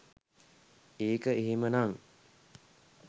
ඒක එහෙම නන්